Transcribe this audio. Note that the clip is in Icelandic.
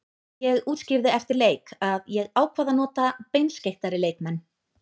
Ég útskýrði eftir leik að ég ákvað að nota beinskeyttari leikmenn.